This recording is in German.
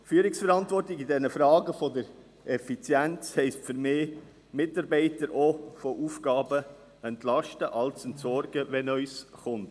Führungsverantwortung in Fragen der Effizienz bedeutet für mich, Mitarbeiter auch von Aufgaben zu entlasten und Altes zu entsorgen, wenn etwas Neues kommt.